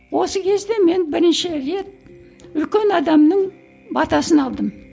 осы кезде мен бірінші рет үлкен адамның батасын алдым